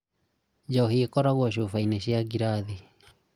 Njohi ĩkoragwo cubaĩnĩ cia ngirathi